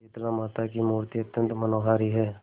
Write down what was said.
शीतलामाता की मूर्ति अत्यंत मनोहारी है